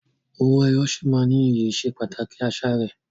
Owó ẹyọ sì máa ní iyì ìsepàtàkì àṣà rẹ.